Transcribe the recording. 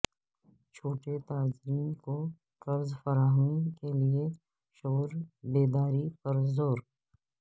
چھوٹے تاجرین کو قرض فراہمی کیلئے شعور بیداری پر زور